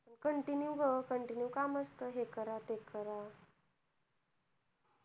continue गं continue काम असत हे करा ते करा